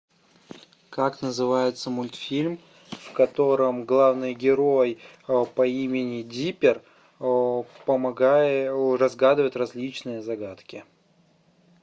как называется мультфильм в котором главный герой по имени диппер помогает разгадывает различные загадки